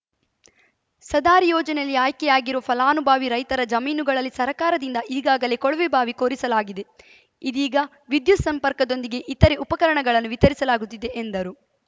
ಸದಾರಿ ಯೋಜನೆಯಲ್ಲಿ ಆಯ್ಕೆಯಾಗಿರುವ ಫಲಾನುಭವಿ ರೈತರ ಜಮೀನುಗಳಲ್ಲಿ ಸರ್ಕಾರದಿಂದ ಈಗಾಗಲೇ ಕೊಳವೆಬಾವಿ ಕೊರೆಸಲಾಗಿದೆ ಇದೀಗ ವಿದ್ಯುತ್‌ ಸಂಪರ್ಕದೊಂದಿಗೆ ಇತರೆ ಉಪಕರಣಗಳನ್ನು ವಿತರಿಸಲಾಗುತ್ತಿದೆ ಎಂದರು